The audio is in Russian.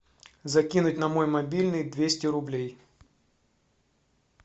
закинуть на мой мобильный двести рублей